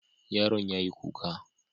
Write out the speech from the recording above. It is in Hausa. Yaron yayi kuka.